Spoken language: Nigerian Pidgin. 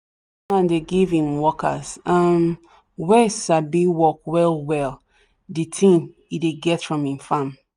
man dey give him workers um wen sabi work well well the thing e dey get from him farm